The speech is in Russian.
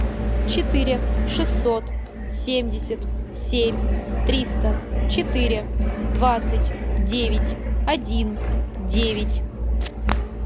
четыре шестьсот семьдесят семь триста четыре двадцать девять один девять